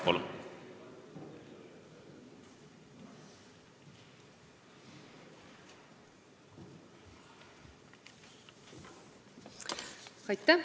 Palun!